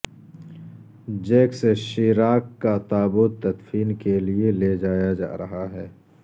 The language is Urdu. جیکس شیراک کا تابوت تدفین کیلئے لیجایا جا رہا ہے